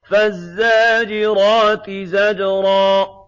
فَالزَّاجِرَاتِ زَجْرًا